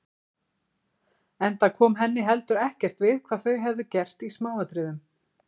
Enda kom henni heldur ekkert við hvað þau hefðu gert í smáatriðum.